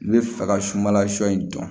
I bɛ fɛ ka sunbala shɔ in dɔn